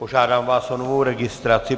Požádám vás o novou registraci.